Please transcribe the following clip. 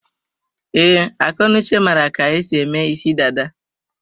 Ee, Akọnuche mara ka-esi eme isi dada.